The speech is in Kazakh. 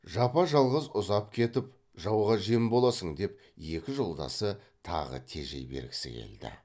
жапа жалғыз ұзап кетіп жауға жем боласың деп екі жолдасы тағы тежей бергісі келді